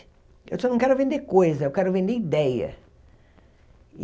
Eu disse, eu não quero vender coisa, eu quero vender ideia.